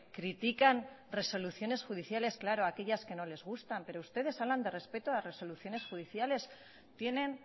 critican resoluciones judiciales claro aquellas que no les gustan pero ustedes hablan de respeto a las resoluciones judiciales tienen